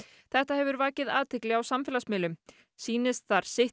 þetta hefur vakið athygli á samfélagsmiðlum sýnist þar sitt